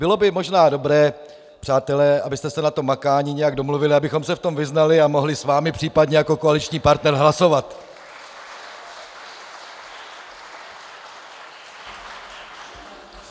Bylo by možná dobré, přátelé, abyste se na tom makání nějak domluvili, abychom se v tom vyznali a mohli s vámi případně jako koaliční partner hlasovat.